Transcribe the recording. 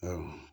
Awɔ